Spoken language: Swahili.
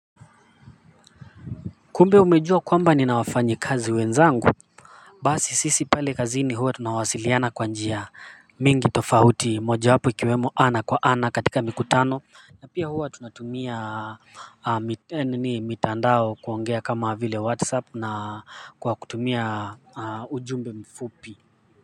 Kumbe umejua kwamba nina wafanyikazi wenzangu basi sisi pale kazini huwa tunawasiliana kwa njia mingi tofahuti mojawapo ikiwemo ana kwa ana katika mikutano na pia huwa tunatumia mitandao kuongea kama vile whatsapp na kwa kutumia ujumbe mfupi